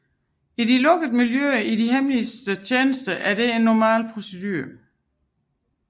I de lukkede miljøer i de hemmelige tjenester var dette en normal procedure